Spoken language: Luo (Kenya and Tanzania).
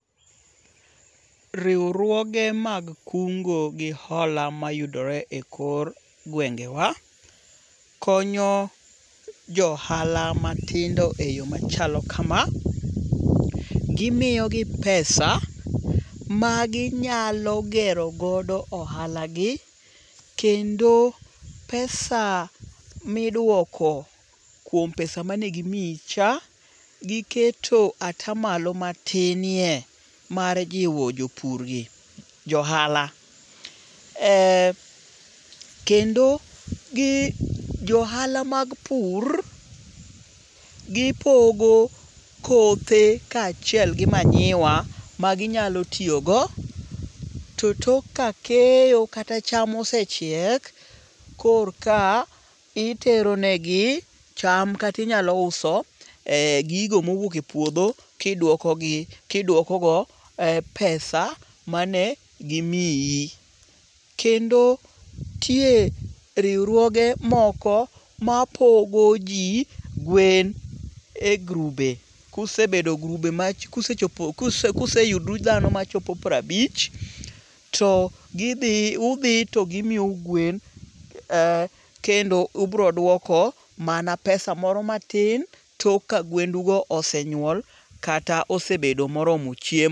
Riwruoge mag kungo gi hola mayudore ekor gwengewa konyo jo ohala matindo eyo machalo kama. Gimiyogoi pesa maginyalo gero godo ohalagi, kendo pesa miduoko kuom pesa mane gimiyicha, giketo ata malo matinie mar jiwo jopurgi, jo ohala, eh kendo gi jo ohala mag pur gipogo kothe kaachiel gi manyiwa maginyalo tiyogo to tok ka keyo kata cham ose chiek korka itero negi cham kata inyalo uso eh gigo mowuok e puodho kiduokogi kiduokogo e pesa mane gimiyi. Kendo nitie riwruoge moko mapogo ji gwen e grube. Kusebedo grube maji kusechopo kuseyudru dhano machopo piero abich to gidhi to udhi to gimiyou gwen kendo ubiro duoko mana pesa moro matin tok ka gwendugo osenyuol kata osebedo koromo chiem